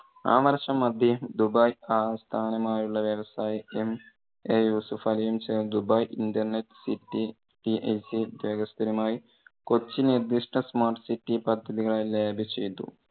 ആ വർഷം അദ്ദേഹം ദുബായ് ആസ്ഥാനമായുള്ള വ്യവസായി MA യൂസഫലിയും ചേർന്ന് dubai internet city സ്ഥിരമായി കൊച്ചി നിർദിഷ്ട smart city പദ്ധതികളെ ചെയ്തു.